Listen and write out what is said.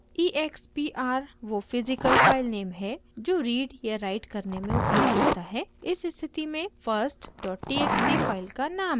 expr वो physical filename है जो रीड या राइट करने में उपयोग होता है इस स्थिति में firsttxt फाइल का नाम है